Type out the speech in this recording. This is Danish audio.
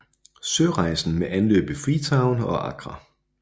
Sørejsen med anløb i Freetown og Accra